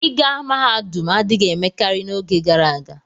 ịga mahadum adịghị emekarị n'oge gara aga.